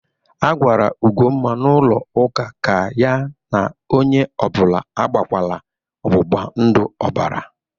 A gwara Ugomma n'ụlọ ụka ka ya na onye ọ bụla agbakwala ọgbụgbandụ ọbara!